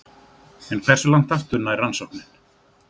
En hversu langt aftur nær rannsóknin?